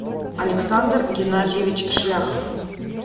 александр геннадьевич шляхов